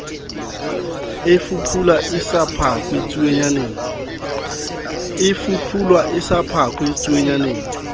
e fuphula sa phakwe tsuonyana